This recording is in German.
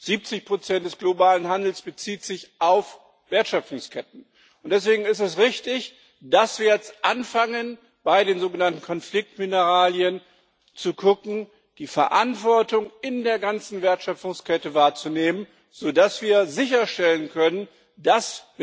70 des globalen Handels beziehen sich auf Wertschöpfungsketten, und deswegen ist es richtig, dass wir jetzt bei den sogenannten Konfliktmineralien anfangen zu gucken und die Verantwortung in der ganzen Wertschöpfungskette wahrzunehmen, so dass wir sicherstellen können, dass